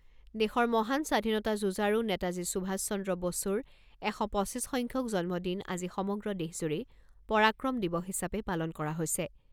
দেশৰ মহান স্বাধীনতা যুঁজাৰু নেতাজী সুভাষ চন্দ্ৰ বসুৰ এশ পঁচিছ সংখ্যক জন্মদিন আজি সমগ্ৰ দেশজুৰি পৰাক্ৰম দিৱস হিচাপে পালন কৰা হৈছে।